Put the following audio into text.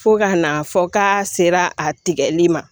Fo ka n'a fɔ k'a sera a tigɛli ma